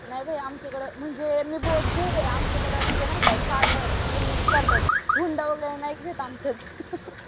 नाही बाई आमच्याकडे म्हणजे मी बौद्ध आहे आमच्याकडं म्हणजे नाही का साधं करतात. हुंडा वगैरे नाहीत घेत आमच्यात